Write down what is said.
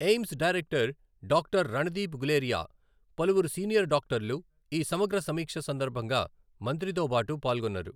AIIMS director doctor Randeep Guleria, పలువురు senior డాక్టర్లు ఈ సమగ్ర సమీక్ష సందర్భంగా మంత్రితోబాటు పాల్గొన్నారు.